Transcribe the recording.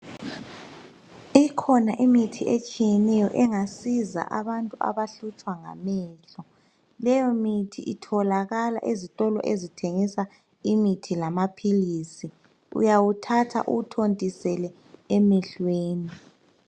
Ikhona imithi etshiyeneyo engasiza abantu abahlutshwa ngamehlo. Leyomithi itholakala ezitolo ezithengisa imithi lamaphilisi. Uyawuthatha uwuthontisele emehlweni.